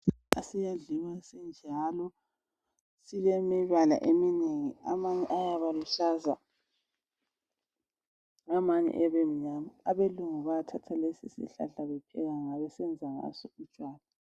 Siyadliwa sinjalo. Silemibala eminengi. Amanye ayabaluhlaza. Amanye abemnyama. AbeLungu bayathatha lesisihlahla, bepheka ngaso, besenza ngaso ijamu.